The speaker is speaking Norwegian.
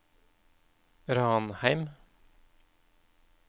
Ranheim